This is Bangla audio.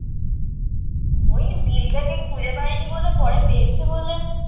ওই বিলটাকে খুঁজে পায়নি বলে পরে পেয়েছে বলে